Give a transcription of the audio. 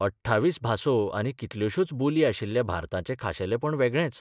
28 भासो आनी कितल्योशोच बोली आशिल्ल्या भारताचें खाशेलेंपण वेगळेंच.